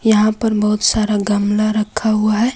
यहां पर बहुत सारा गमला रखा हुआ है।